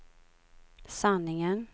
sanningen